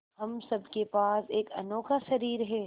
हम सब के पास एक अनोखा शरीर है